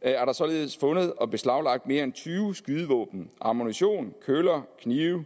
er der således fundet og beslaglagt mere end tyve skydevåben ammunition køller knive